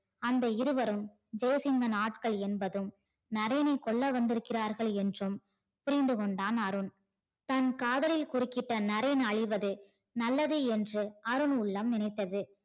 அந்த இருவரும் ஜெய்சிங்கன் ஆட்கள் என்பதும் நரேனை கொல்ல வந்து இருக்கிறார் என்றும் புரிந்து கொண்டான் அருண். தன் காதலை குறுக்கிட்ட நரேன் அழிவது நல்லது என்று அருண் உள்ளம் நினைத்தது.